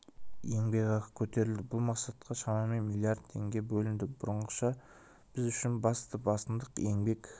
еңбек ақы көтерілді бұл мақсатқа шамамен миллиард теңге бөлінді бұрынғыша біз үшін басты басымдық еңбек